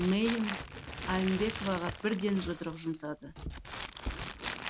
мерин айнбековаға бірден жұдырық жұмсады